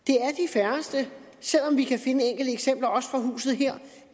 færreste selv om vi kan finde enkelte eksempler også fra huset her